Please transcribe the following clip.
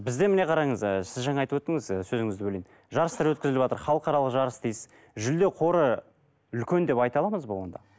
бізде міне қараңыз ы сіз жаңа айтып өттіңіз сөзіңізді бөлейін жарыстар өткізіліватыр халықаралық жарыс дейсіз жүлде қоры үлкен деп айта аламыз ба онда